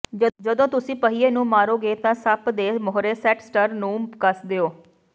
ਜਦੋਂ ਤੁਸੀਂ ਪਹੀਏ ਨੂੰ ਮਾਰੋਗੇ ਤਾਂ ਸੱਪ ਦੇ ਮੂਹਰੇ ਸੈੱਟ ਸਟਰ ਨੂੰ ਕੱਸ ਦਿਓ